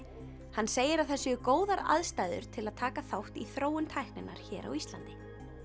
hann segir að það séu góðar aðstæður til að taka þátt í þróun tækninnar hér á Íslandi